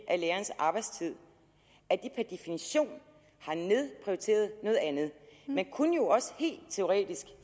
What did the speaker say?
af lærernes arbejdstid per definition har nedprioriteret noget andet man kunne jo også helt teoretisk